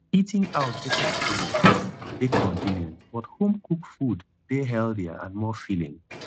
eating out dey convenient dey convenient but homecooked food dey healthier and more filling